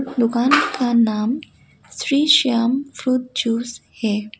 दुकान का नाम श्री शाम फ्रूट जूस है।